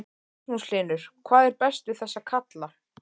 Magnús Hlynur: Hvað er best við þessa kalla?